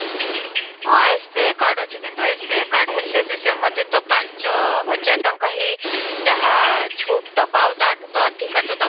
ହଁ, SBI card ଅଛି କିନ୍ତୁ SBI card ହେଲେବି ସେ ମୋତେ ତ ପାଞ୍ଚ ହଜାର ହିଁ ଯାହା ଦେବ ଆଉ ତାଠୁ ତ ଅଧିକ ତ ଦ